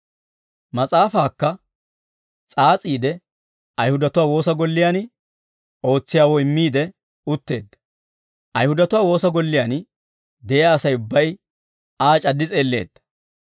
Mas'aafaakka s'aas'iide Ayihudatuwaa woosa golliyaan ootsiyaawoo immiide utteedda. Ayihudatuwaa woosa golliyaan de'iyaa Asay ubbay Aa c'addi s'eelleedda.